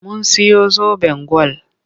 Mun siyo zoben gwal.